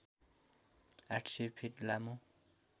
८०० feet लामो